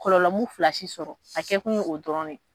Kɔlɔlɔ mun fila si sɔrɔ a kɛ kun ye o dɔrɔn ne ye.